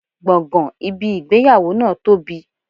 Gbọ̀ngàn ibi ìgbéyàwó náà tóbi.